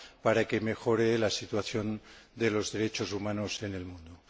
para que mejore la situación de los derechos humanos en el mundo.